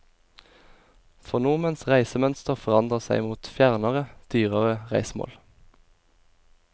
For nordmenns reisemønster forandrer seg mot fjernere, dyrere reisemål.